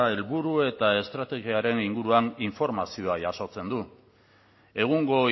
helburu eta estrategiaren inguruan informazioa jasotzen du egungo